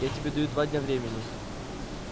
я тебе даю два дня времени